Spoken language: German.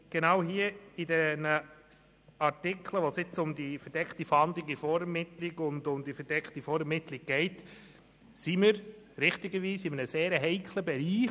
Genau in diesen Artikeln, wo es um die verdeckte Fahndung in der Vorermittlung und um die verdeckte Vorermittlung geht, befinden wir uns in einem sehr heiklen Bereich.